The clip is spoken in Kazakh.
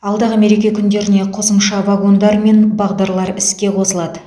алдағы мереке күндеріне қосымша вагондар мен бағдарлар іске қосылады